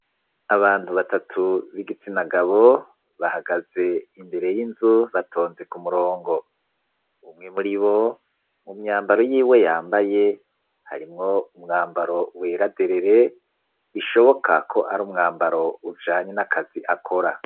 Abantu batatu, b'igitsina gabo, bahagaze imbere y'inzu, batonze ku murongo; umwe muri bo, mu myambaro yiwe yambaye, harimwo umwambaro, wera derere, bishoboka ko, ari umwambaro, ujanye n'akazi akora.